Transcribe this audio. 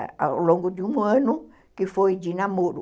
ao longo de um ano, que foi de namoro.